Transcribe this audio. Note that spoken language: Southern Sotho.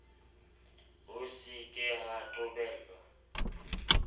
ho se ka ha qobellwa